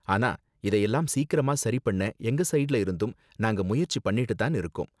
ஆனா, இதை எல்லாம் சீக்கிரமா சரி பண்ண எங்க ஸைடுல இருந்தும் நாங்க முயற்சி பண்ணிட்டு தான் இருக்கோம்